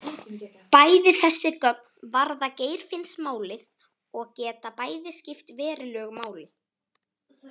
Bæði þessi gögn varða Geirfinnsmálið og geta bæði skipt verulegu máli.